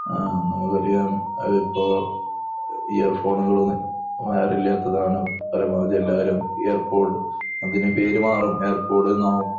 ആഹ് എന്നുപറയ അതിപ്പോ ഇയർഫോണുകൾ വൈറില്ലാത്തതാണ് പരമാവധി എല്ലാരും ഇയർപോഡ് അങ്ങിനെ പേര് മാറും ഇയർപോഡ്ന്ന് ആവും